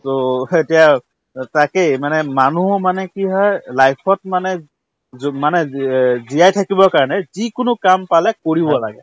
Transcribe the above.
to অ তাকেই মানে মানুহো মানে কি হয় life ত মানে জোৱ মানে জীয়া‍ জীয়াই থাকিবৰ কাৰণে যিকোনো কাম পালে কৰিব লাগে